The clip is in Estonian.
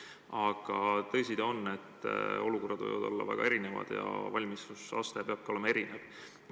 Aga tõsi ta on, et olukorrad võivad olla väga erinevad ja valmidusaste peab ka olema erinev.